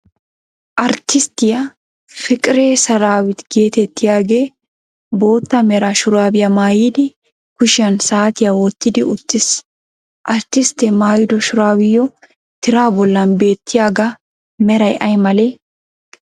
Arttisttiyaa Fiqire Serawit geetettiyagee boottaa mera shuraabiyaa maayidi kushiyaan saatiyaa wottidi uttiis. Arttisttee mayyido shuraabiyo tiraa bollan beettiyaga meray ay malee?